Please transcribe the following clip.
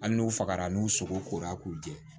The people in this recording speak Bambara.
Hali n'u fagara n'u sogokora k'u jɛ